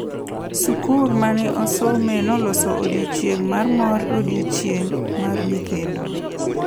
Sukuru ma ne asomoe noloso odiochieng’ mar mor e Odiochieng’ mar Nyithindo.